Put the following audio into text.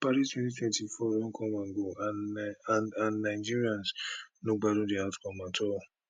paris 2024 olympic don come and go and and nigerians no gbadun di outcome at all